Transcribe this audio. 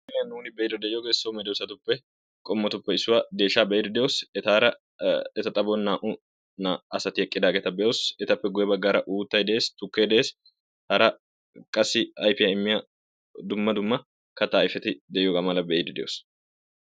Ha'i ha nuun be'ide de'iyooge so medoosatuppe qommotuppe issuwaa deeshsha be'ide de'oos. Etaara eta xaphon naa''u asati eqqidaageeta be''oos. Etappe guyyee baggaara uuttay de'ees, tukkee de'ees. Hara qassi ayfiya immiya dumma dumma katta ayfeti de'iyooga be'ide de'oos